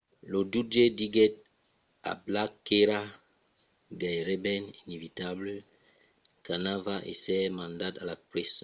lo jutge diguèt a blake qu'èra gaireben inevitable qu'anava èsser mandat a la preson